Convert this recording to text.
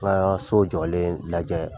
N'a ya ka so jɔlen lajɛ